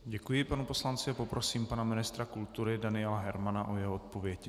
Děkuji panu poslanci a poprosím pana ministra kultury Daniela Hermana o jeho odpověď.